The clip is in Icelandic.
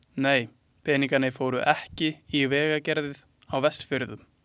Nei, peningarnir fóru ekki í vegagerð á Vestfjörðum.